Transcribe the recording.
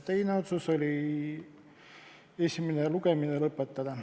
Teine otsus oli teha ettepanek esimene lugemine lõpetada.